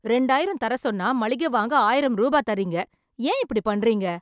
இரண்டாயிரம் தர சொன்னா, மளிகை வாங்க ஆயிரம் ரூபாய் தரீங்க. ஏன் இப்படி பண்றீங்க?